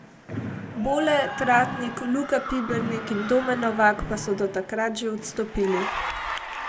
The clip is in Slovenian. Bole, Tratnik, Luka Pibernik in Domen Novak pa so do takrat že odstopili.